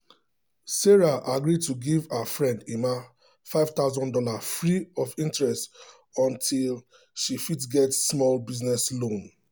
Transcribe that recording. sarah agree to give her friend emma five thousand dollars free of interest until she fit get small business loan.